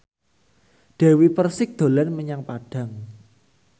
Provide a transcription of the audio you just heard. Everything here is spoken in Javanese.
Dewi Persik dolan menyang Padang